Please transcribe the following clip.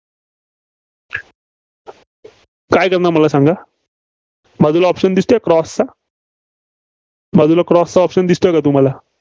काय करणार मला सांगा? बाजूला option दिसतोय Cross चा बाजूला Cross चा Option दिसतोय का, तुम्हाला?